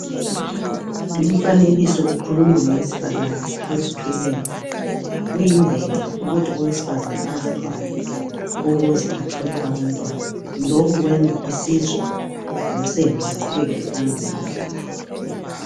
Lumfanekiso ukhuluma ngowesifazana ozithweleyo, kuyimvelo ukuthi owesifazana azithwale ukuze athole abantwana lokhu kwenza isizwe losendo luqhubekele phambili.